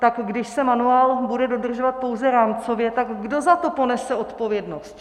Tak když se manuál bude dodržovat pouze rámcově, tak kdo za to ponese odpovědnost?